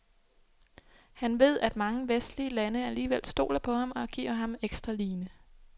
Han ved, at mange vestlige lande alligevel stoler på ham og giver ham ekstra line.